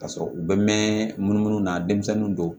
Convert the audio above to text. Ka sɔrɔ u bɛ mɛn mun na denmisɛnninw do